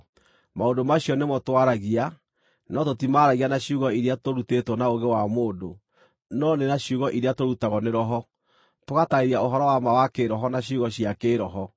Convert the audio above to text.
Maũndũ macio nĩmo twaragia, no tũtimaaragia na ciugo iria tũrutĩtwo na ũũgĩ wa mũndũ, no nĩ na ciugo iria tũrutagwo nĩ Roho, tũgataarĩria ũhoro wa ma wa kĩĩroho na ciugo cia kĩĩroho.